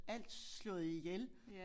Alt slået ihjel